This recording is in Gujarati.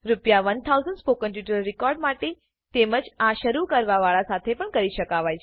રૂ1000 સ્પોકન ટ્યુટોરીયલ રેકોર્ડ માટે તેમ જ આ શરુ કરવા વાળા સાથે પણ કરી શકાય